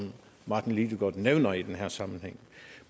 martin lidegaard nævner i den her sammenhæng